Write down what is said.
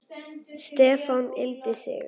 Stefán yggldi sig.